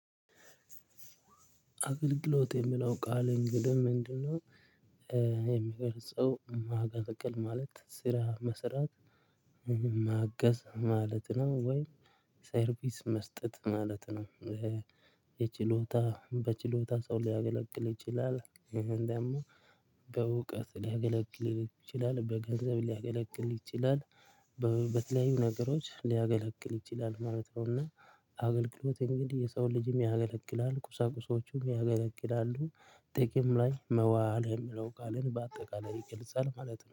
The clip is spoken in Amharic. አገልግሎት የሚለው ቃል እንግዲህ ምንድነው የሚገልጸው ማገልገል ማለት ስራ መስራት ማገዝ ማለት ነው ወይ ሰርቪስ መስጠት ማለት ነው። የችሎታ በችሎታ ሰው ሊያገለግል ይችላል ደግሞ በእውቀት ሊያገለግል ይችላል በገንዘብ ሊያገለግል ይችላል በተለያዩ ነገሮች ሊያገለግል ይችላል ማለት ነው። እና አገልግሎት እንግዲህ የሰው ልጅም ያገለግላል ቁሳቁሶቹም ያገለቅላሉ ጥቅም ላይ መዋል የሚለው ቃልን በአጠቃላይ ይገልጻል ማለት ነው